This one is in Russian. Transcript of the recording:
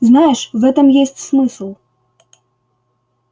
знаешь в этом есть смысл